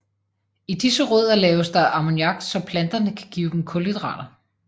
I disse rødder laves der ammoniak så planterne kan give dem kulhydrater